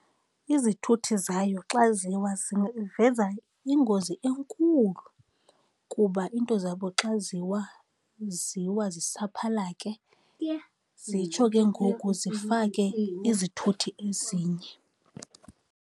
Izithuthi zayo xa ziwa ziveza ingozi enkulu kuba iinto zabo xa ziwa, ziwa zisaphalake, zitsho ke ngoku zifake izithuthi ezinye.